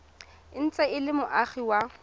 ntse e le moagi wa